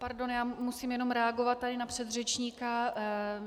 Pardon, já musím jenom reagovat tady na předřečníka.